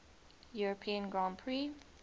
european grand prix